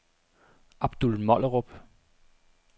Abdul Mollerup